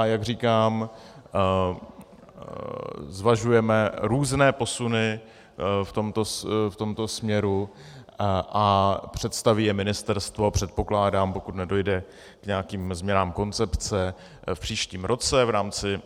A jak říkám, zvažujeme různé posuny v tomto směru a představí je ministerstvo, předpokládám, pokud nedojde k nějakým změnám koncepce, v příštím roce v rámci